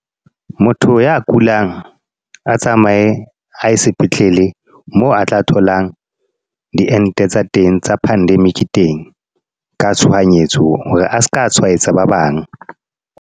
Motho ya kulang, a tsamaye e ye sepetlele. Moo a tla tholang, diente tsa teng tsa pandemic teng. Ka tshohanyetso. Hore a seka tshwaetsa ba bang.